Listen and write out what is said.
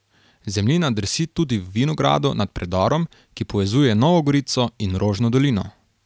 Zemljina drsi tudi v vinogradu nad predorom, ki povezuje Novo Gorico in Rožno Dolino.